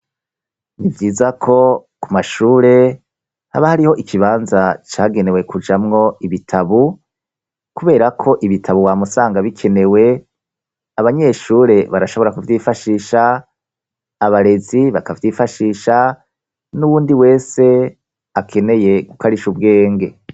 Ni vyiza ko ku mashure haba hariho ikibanza cagenewe kujamwo ibitabo, kubera ko ibitabo wa musanga bikenewe abanyeshure barashobora kuvyifashisha abarezi bakavyifashisha n'uwundi wese akeneye gukarisha ubwenge.